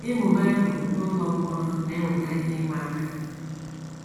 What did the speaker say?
Ịmụ Bible n’ụlọ mkpọrọ na - eweta ihe ịma aka.